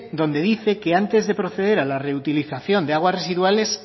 donde dice que antes de proceder a la reutilización de aguas residuales